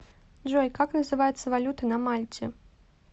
джой как называется валюта на мальте